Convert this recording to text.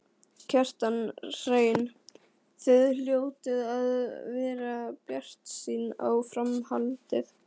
Kjartan Hreinn: Þið hljótið að vera bjartsýn á framhaldið?